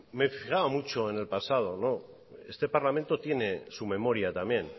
me fijaba mucho en el pasado no este parlamento tiene su memoria también